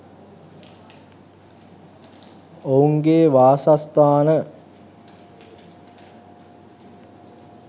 ඔවුන්ගේ වාසස්ථාන.